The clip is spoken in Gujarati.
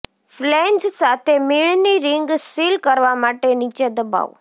ફ્લેંજ સાથે મીણની રિંગ સીલ કરવા માટે નીચે દબાવો